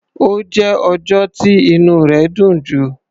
Ó jẹ́ ọjọ́ tí inú rẹ̀ dùn jù.